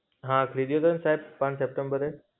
હા, ખરીદ્યો હતો ને સાહેબ, ત્રણ સપ્ટેમ્બરે.